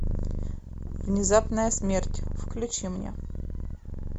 внезапная смерть включи мне